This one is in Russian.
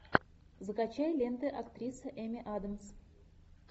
закачай ленты актрисы эми адамс